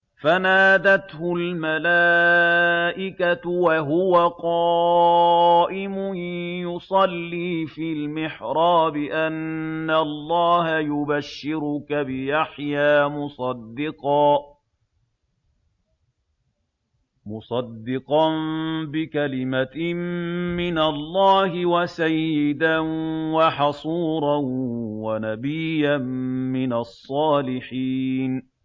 فَنَادَتْهُ الْمَلَائِكَةُ وَهُوَ قَائِمٌ يُصَلِّي فِي الْمِحْرَابِ أَنَّ اللَّهَ يُبَشِّرُكَ بِيَحْيَىٰ مُصَدِّقًا بِكَلِمَةٍ مِّنَ اللَّهِ وَسَيِّدًا وَحَصُورًا وَنَبِيًّا مِّنَ الصَّالِحِينَ